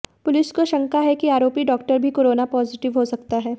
police को शंका है कि आरोपी डॉक्टर भी कोरोना पॉजिटिव हो सकता है